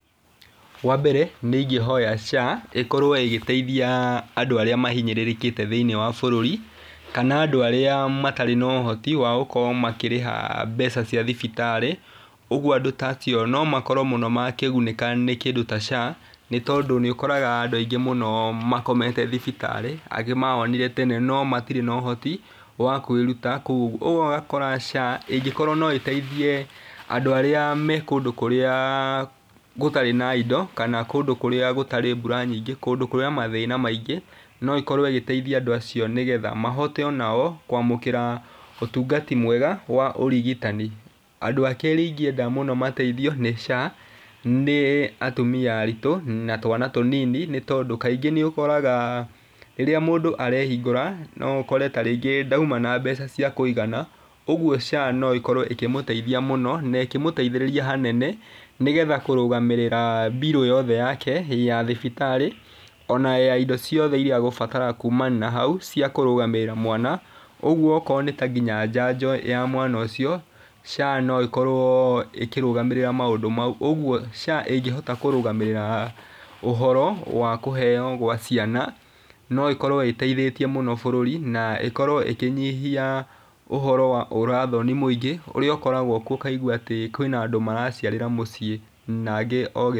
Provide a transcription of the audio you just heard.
Wa mbere nĩ ingĩhoya SHA ĩkorwo ĩgĩteithia andũ arĩa mahinyĩrĩrĩkĩte thĩinĩ wa bũrũri kana andũ arĩa matarĩ na ũhoti wa gũkorwo makĩrĩha mbeca cia thibitarĩ. Ũguo andũ ta acio no makorwo makĩgunĩka mũno nĩ kĩndũ ta SHA, nĩ tondũ nĩ ũkoraga andũ aingĩ mũno makomete thibitarĩ angĩ mahonire tene noi matirĩ na ũhoti wa kwĩruta kũu. Ũguo ũgakora SHA ĩngĩkorwo no ĩteithie andũ arĩa me kũndũ kũrĩa gũtarĩ na indo kana kũndũ kũrĩa gũtarĩ na mbura nyingĩ kũndũ kwĩna mathĩna maingĩ. No ĩkorwo ĩgiteithia andũ acio nĩ getha mahote onao kwamũkĩra ũtangatiu mwega wa ũrigitani. Andũ a kerĩ ingĩenda mateithio mũno nĩ SHA nĩ atumia aritũ na twana tũnini nĩ tondũ kaingĩ nĩ ũkoraga rĩrĩa mũndũ arehingũra nĩ ũkoraga tarĩngĩ ndauma na mbeca cia kũigana ũguo SHA no ĩkorwo ĩkĩmũteithia mũno na ĩkũmũteithĩrĩria hanene nĩ getha kũrũgamĩrĩra mbirũ yothe yake ya thibitarĩ, ona ya indo ciothe iria egũbatara kuma na hau ciakũrũgamĩrira mwana. Ũguo okorwo nginya nĩ ta njanjo ya mwana ũcio SHA no ĩkorwo ikĩrũgamĩrĩra maũndũ mau. Ũguo SHA ĩngĩhota kũrũgamĩrĩra ũhoro wa kũheo gwa ciana no ĩkorwo ĩteithĩtie mũno bũrũri na ĩkorwo ĩkĩnyihia ũhoro wa ũrathoni mũingĩ ũrĩa ũkoragwo kuo ũkaigua atĩ kwĩna andũ maraciarĩra mũciĩ na angĩ o gĩ.